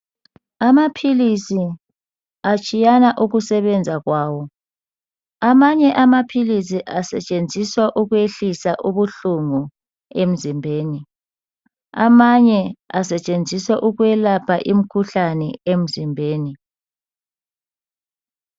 Amaphilisi atshiyana ukusebenza kwawo. Amanye amaphilisi asetshenziswa ukwehlisa ubuhlungu emzimbeni amanye asetshenziswa ukwelapha imkhuhlane emzimbeni.